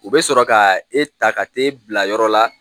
U bɛ sɔrɔ ka e ta ka t'e bila yɔrɔ la.